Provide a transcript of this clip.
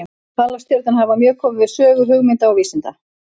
Halastjörnur hafa mjög komið við sögu hugmynda og vísinda.